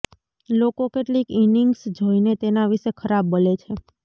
લોકો કેટલીક ઇનિંગ્સ જોઈને તેના વિશે ખરાબ બોલે છે